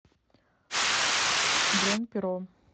бронь перо